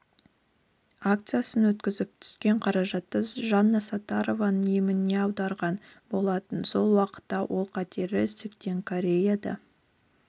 акциясын өткізіп түскен қаражатты жанна саттарованың еміне аударған болатын сол уақытта ол қатерлі ісіктен кореяда